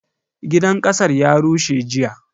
Gidan kasar ya rushe jiya.